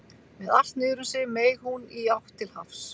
Með allt niður um sig meig hún í átt til hafs.